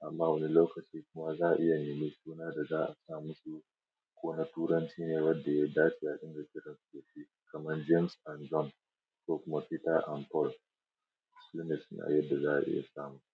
amma wani lokaci kuma za'a iya nemi suna da za'a sa musu. Kona Turanci ne wadda ya dace a dinga kiransu dashi kamar James and John ko kuma peter and Paul sune sunayen da za'a iya sa musu.